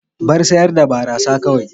Bar sayar da barasa kawai.